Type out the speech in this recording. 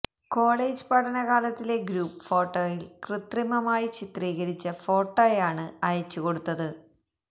college പഠനകാലത്തിലെ group ഫോട്ടോയില് കൃത്രിമമായി ചിത്രീകരിച്ച ഫോട്ടോയാണ് അയച്ചു കൊടുത്തത്